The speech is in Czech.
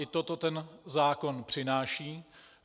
I toto ten zákon přináší.